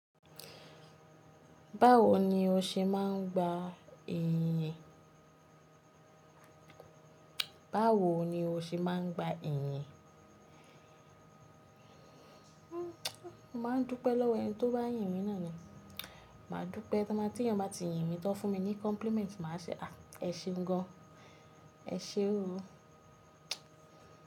Báwo ni o ṣe máa ń gba ìyìn? Báwo ni o ṣe máa ń gba ìyìn? Mo máa ń dúpẹ́ lọ́wọ́ ẹni tó bá yìn mí náà ni. Màá dúpẹ́, tí ènìyàn bá ti yìn mi tan fun mi ní compliment, màá ṣe ẹ ṣe gan an, ẹ ṣé o.